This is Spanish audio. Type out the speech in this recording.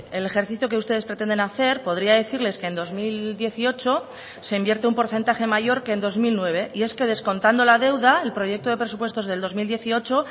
el ejercicio que ustedes pretenden hacer podría decirles que en dos mil dieciocho se invierte un porcentaje mayor que en dos mil nueve y es que descontando la deuda el proyecto de presupuestos del dos mil dieciocho